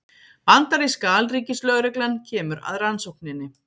Bandaríska alríkislögreglan kemur að rannsókninni